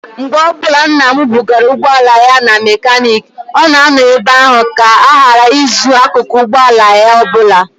Mgbe ọbụla nna m bugara ụgbọala ya na mekaniiki, ọ na-anọ ebe ahụ ka a ghara izu akụkụ ụgbọala ya ọbụla.